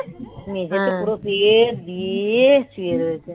মেজেতে পুরো বিয়ে দিয়ে শুয়ে রয়েছে.